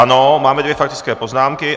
Ano, máme dvě faktické poznámky.